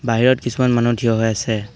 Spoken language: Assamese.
বাহিৰত কিছুমান মানুহ থিয় হৈ আছে।